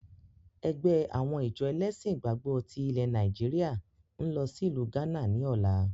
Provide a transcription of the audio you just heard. Ẹgbẹ́ àwọn ìjọ ẹlẹ́ṣin ìgbàgbọ́ tí ilẹ̀ Nàìjíríà ń lọ sí ìlú gánà ni ọ̀la